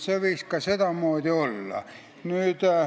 See võiks ka sedamoodi olla.